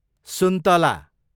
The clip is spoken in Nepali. सुन्तला